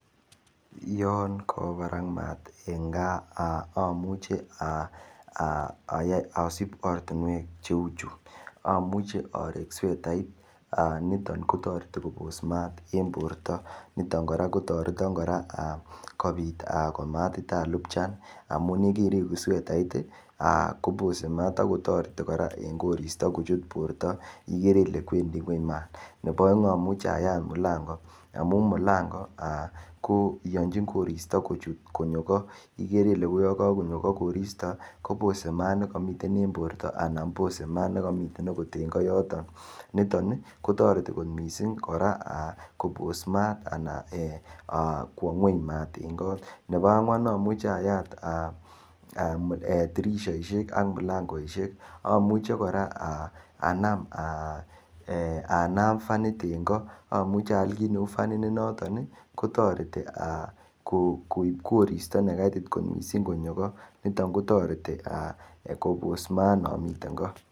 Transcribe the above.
Yan kawa parak maat eng kaa amuche asip oratinwek cheu chu amuche arek swetait niton kotoreti kopos maat en porto niton kora kotoreton kora kopit komatitalupchan amun yikaireku swetait kopose maat akotoreti eng koristo kuchut Porto ikere ile wendi ng'weny mat nepo oeng amuche ayat mulango amun mulango koiyonji koristo kuchut konyo kot igere ile yokakonyo kot koristo kopose maat nikamiten en Porto anan pose mat nikamiten agot koyoton niton kotoreti kot mising kora kopos maat anan kowo ng'weny mat eng kot nepo angwan amuche ayat dirishoishek ak milangoishek amuche kora anam fanit eng kot amuchi aal kiit ne fanit ne noton kotoreti koip koristo nekaitit kot mising konyo kot niton kotoreti kopos maat nekamiten kot.